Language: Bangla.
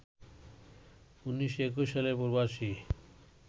১৯২১ সালে প্রবাসী